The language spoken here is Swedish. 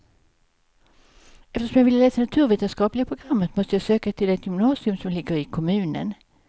Eftersom jag ville läsa naturvetenskapliga programmet måste jag söka till det gymnasium som ligger i kommunen.